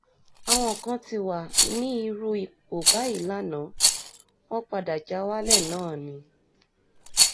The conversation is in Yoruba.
àwọn kan ti wà ní irú ipò báyìí lànàá wọn padà já wálẹ̀ náà ni